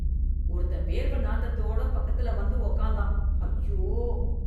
ஒருத்தன் வேர்வை நாத்தத்தோடு பக்கத்துல வந்து உக்கார்ந்தான், ஐயோ.